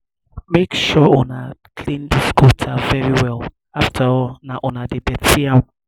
make sure una clean dis gutter very well afterall na una dey dirty am